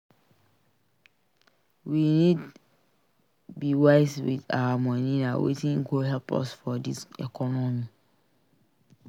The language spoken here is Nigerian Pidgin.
We need be wise with our money; na wetin go help us for dis economy.